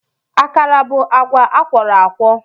Akara bụ agwa akwọrọakwọ